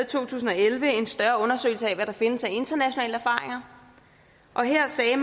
to tusind og elleve en større undersøgelse af hvad der findes af internationale erfaringer og her sagde